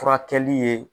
Furakɛli ye